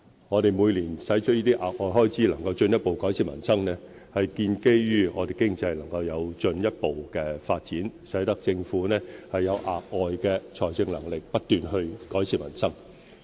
我們每年能夠承擔這些額外開支以進一步改善民生，是建基於我們經濟能夠有進一步發展，使政府有額外的財政能力不斷改善民生。